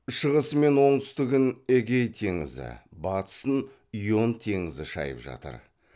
шығысы мен оңтүстігін эгей теңізі батысын ион теңізі шайып жатыр